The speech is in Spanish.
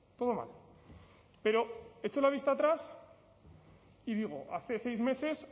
todo mal pero echo la vista atrás y digo hace seis meses